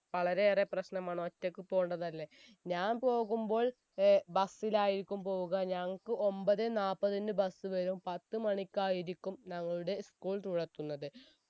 വളരെയേറെ പ്രശ്നമാണ് ഒറ്റക്ക് പോണതല്ലേ ഞാൻ പോകുമ്പോൾ ഏർ bus ലായിരിക്കും പോവുക ഞങ്ങക്ക് ഒമ്പതേ നാപ്പതിന് bus വരും പത്ത് മണിക്കായിരിക്കും ഞങ്ങളുടെ school തുറക്കുന്നത്